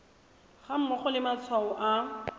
ga mmogo le matshwao a